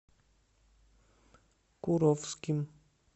куровским